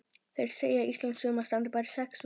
Þeir segja að íslenskt sumar standi bara í sex vikur.